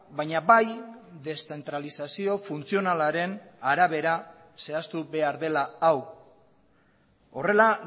baina bai deszentralizazio funtzionalaren arabera zehaztu behar dela hau horrela